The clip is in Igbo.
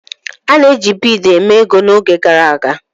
A na-eji bead mee ego n'oge gara aga.